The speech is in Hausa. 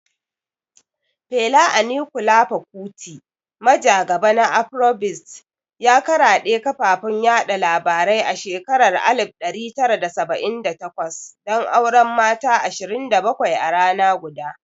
Fela Anikulapo Kuti, majagaba na Afrobeats, ya karaɗe kafafun labarai a shekarar 1978 don auren mata 27 a rana guda.